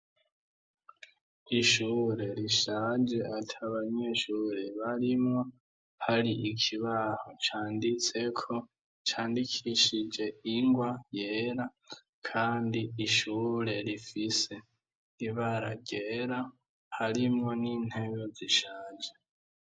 ishure rishaje ataba nyeshure barimwo hari ikibaho canditse ko candikishije ingwa yera kandi ishure rifise ibara ryera harimwo n'intebe zishaje